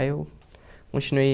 Aí eu continuei.